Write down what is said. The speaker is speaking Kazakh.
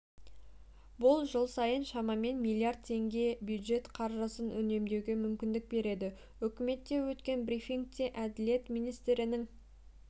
бұл жыл сайын шамамен миллиард теңге бюджет қаржысын үнемдеуге мүмкіндік береді үкіметте өткен брифингте әділет министрінің